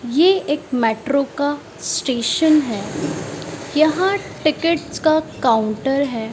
ये एक मेट्रो का स्टेशन है यहां टिकिट्स का काउंटर है।